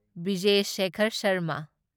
Vijay Shekhar Sharma